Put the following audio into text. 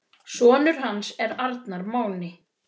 Sonur hans er Arnar Máni.